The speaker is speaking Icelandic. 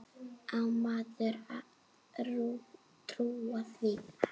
Á maður að trúa því?